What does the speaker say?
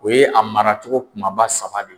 O ye a maracogo kumaba saba de ye.